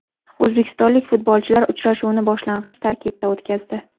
O‘zbekistonlik futbolchilar uchrashuvni boshlang‘ich tarkibda o‘tkazdi.